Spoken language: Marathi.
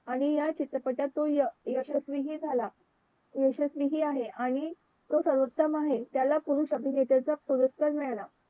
आणि या चित्रपटातून यशस्वी हि झाला यशस्वी आहे आणि तो सर्वोत्तम आहे त्याला पुरुष अभिनेत्याचा पुरस्कार मिळाला